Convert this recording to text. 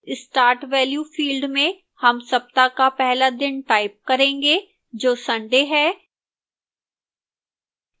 start value field में हम सप्ताह का पहला दिन type करेंगे जो sunday है